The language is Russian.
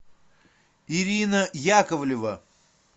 ирина яковлева